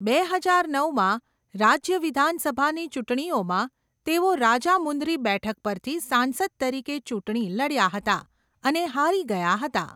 બે હજાર નવમાં, રાજ્ય વિધાનસભાની ચૂંટણીઓમાં તેઓ રાજામુંદ્રી બેઠક પરથી સાંસદ તરીકે ચૂંટણી લડ્યા હતા અને હારી ગયા હતા.